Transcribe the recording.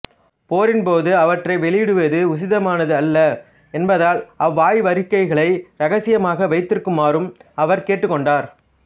போரின்போது அவற்றை வெளியிடுவது உசிதமானதல்ல என்பதால் அவ்வாய்வறிக்கைகளை இரகசியமாக வைத்திருக்குமாறும் அவர் கேட்டுக்கொண்டார்